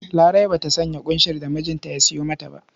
Larai ba sanya ƙunshin da mijinta ya sayo mata ba.